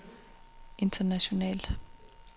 internationalt